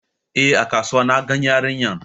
Eh, A kasuwa na gan yarinyar